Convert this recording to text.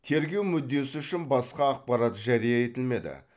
тергеу мүддесі үшін басқа ақпарат жария етілмеді